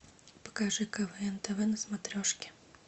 покажи квн тв на смотрешке